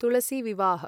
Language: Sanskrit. तुलसी विवाह